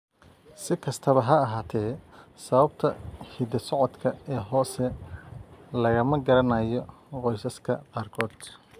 Si kastaba ha ahaatee, sababta hidda-socodka ee hoose lagama garanayo qoysaska qaarkood.